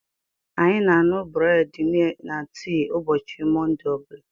Anyị na aṅụ breedi na tii ụbọchị Monde ọbula.